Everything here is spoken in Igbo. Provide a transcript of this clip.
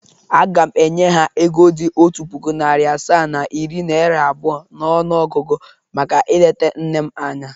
Aga m enye ha ego dị otu puku, narị asaa na iri naịra abụọ n’ọnụọgụgụ maka ileta nne m anya.